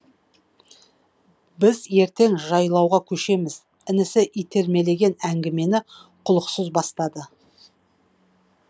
біз ертең жайлауға көшеміз інісі итермелеген әңгімені құлықсыз бастады